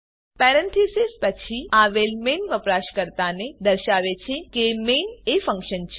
parenthesis પછી આવેલ main વપરાશકર્તાને દર્શાવે છે કે મેઇન એક ફંક્શન છે